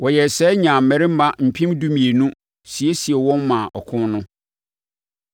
Wɔyɛɛ saa nyaa mmarima mpem dumienu siesie wɔn maa ɔko no.